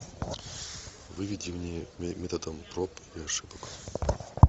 выведи мне методом проб и ошибок